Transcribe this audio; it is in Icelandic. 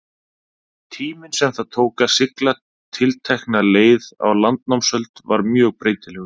tíminn sem það tók að sigla tiltekna leið á landnámsöld var mjög breytilegur